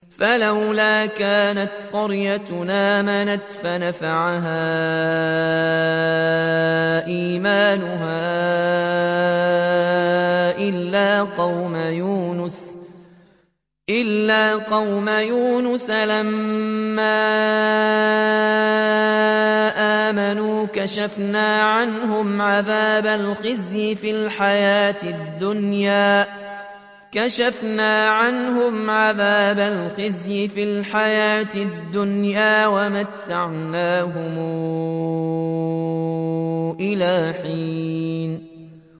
فَلَوْلَا كَانَتْ قَرْيَةٌ آمَنَتْ فَنَفَعَهَا إِيمَانُهَا إِلَّا قَوْمَ يُونُسَ لَمَّا آمَنُوا كَشَفْنَا عَنْهُمْ عَذَابَ الْخِزْيِ فِي الْحَيَاةِ الدُّنْيَا وَمَتَّعْنَاهُمْ إِلَىٰ حِينٍ